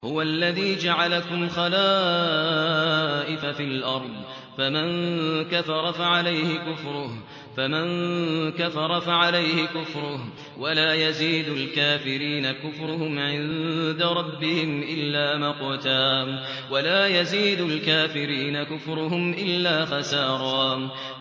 هُوَ الَّذِي جَعَلَكُمْ خَلَائِفَ فِي الْأَرْضِ ۚ فَمَن كَفَرَ فَعَلَيْهِ كُفْرُهُ ۖ وَلَا يَزِيدُ الْكَافِرِينَ كُفْرُهُمْ عِندَ رَبِّهِمْ إِلَّا مَقْتًا ۖ وَلَا يَزِيدُ الْكَافِرِينَ كُفْرُهُمْ إِلَّا خَسَارًا